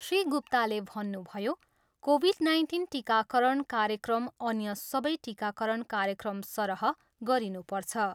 श्री गुप्ताले भन्नुभयो, Covid nineteen टिकाकरण कार्यक्रम अन्य सबै टिकाकरण कार्यक्रमसरह गरिनुपर्छ।